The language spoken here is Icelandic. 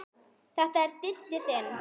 Þetta er Diddi þinn.